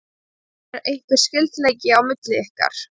Er einhver skyldleiki milli ykkar?